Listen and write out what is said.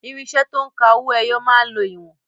Irinṣẹ́ to ń ka owó ẹyọ máa ń lo ìwọ̀n.